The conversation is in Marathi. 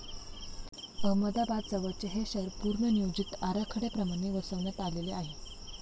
अहमदाबाद जवळचे हे शहर पूर्वनियोजित आराखड्याप्रमाणे वसवण्यात आलेले आहे.